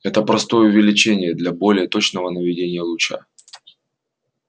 это простое увеличение для более точного наведения луча